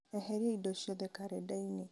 eheria indo ciothe karenda-inĩ